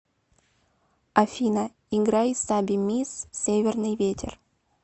афина играй саби мисс северный ветер